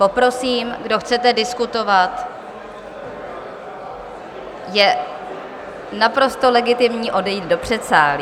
Poprosím, kdo chcete diskutovat, je naprosto legitimní odejít do předsálí.